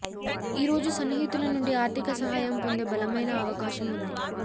ఈ రోజు సన్నిహితుల నుండి ఆర్థిక సహాయం పొందే బలమైన అవకాశం ఉంది